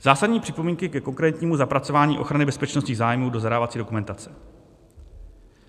Zásadní připomínky ke konkrétnímu zapracování ochrany bezpečnostních zájmů do zadávací dokumentace.